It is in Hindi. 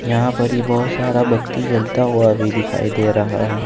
यहां पर ही बहुत सारा बत्ती जलता हुआ भी दिखाई दे रहा है।